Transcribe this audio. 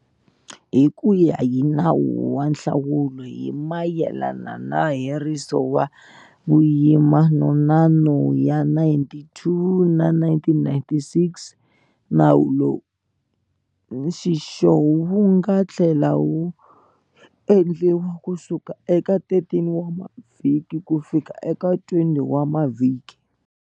Hi ku ya hi Nawu wa Nhlawulo hi mayelana na Heriso wa Vuyimana wa No ya 92 wa 1996, nawu lowu, nxixo wu nga tlhela wu endliwa kusuka eka 13 wa mavhiki kufika eka 20 wa mavhiki